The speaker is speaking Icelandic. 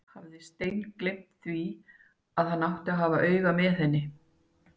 Hafði steingleymt því að hann átti að hafa auga með henni!